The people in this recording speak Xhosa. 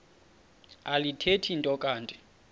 alithethi nto kanti